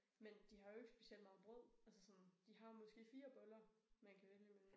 Men de har jo ikke specielt meget brød. Altså sådan de har jo måske fire boller man kan vælge imellem